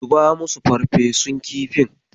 Zuba musu farfesun kifin.